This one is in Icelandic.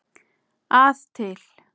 að til.